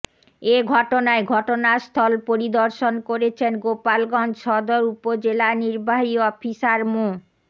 এ ঘটনায় ঘটনাস্থল পরিদর্শন করেছেন গোপালগঞ্জ সদর উপজেলা নির্বাহী অফিসার মো